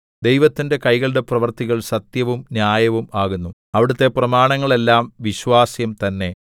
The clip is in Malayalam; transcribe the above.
ദൈവത്തിന്റെ കൈകളുടെ പ്രവൃത്തികൾ സത്യവും ന്യായവും ആകുന്നു അവിടുത്തെ പ്രമാണങ്ങൾ എല്ലാം വിശ്വാസ്യം തന്നെ